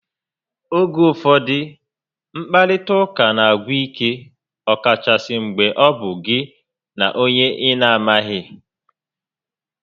Oge ụfọdụ, nkparịta ụka n'agwụ ike ọkachasị mgbe ọ bụ gị na onye ị na amaghị